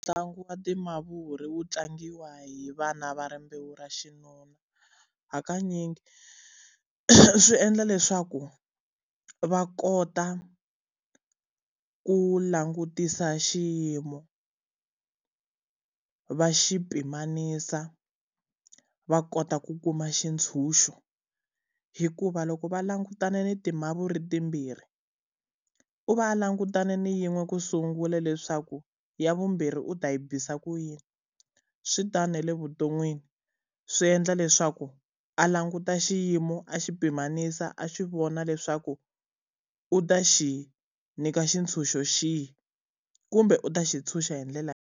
Ntlangu wa timavuri wu tlangiwa hi vana va rimbewu ra xinuna. Hakanyingi swi endla leswaku va kota ku langutisa xiyimo, va xi pimanisa, va kota ku kuma xitshunxo. Hikuva loko va langutane ni timavuri timbirhi, u va langutane na yin'we ku sungula leswaku ya vumbirhi u ta yi bisa ku yini. Swi tani na le vuton'wini, swi endla leswaku a languta xiyimo, a xi pimanisa, a xi vona leswaku, u ta xi nyika xitshunxo xihi kumbe u ta xi tshunxa hi ndlela yihi.